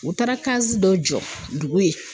U taara dɔ jɔ dugu ye.